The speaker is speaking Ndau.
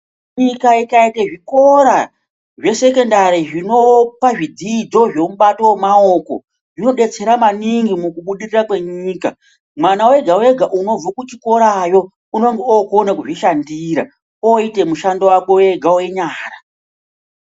Nyika ikaite zvikora zve sekendari zvinopa zvidzidzo zve mubato we maoko zvino detsera maningi muku budirira kwe nyika mwana wega wega unobve ku chikorayo unongo okona kuzvi shandira oyite mushando wakwe wega we nyara.